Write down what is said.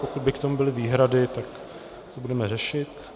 Pokud by k tomu byly výhrady, tak to budeme řešit.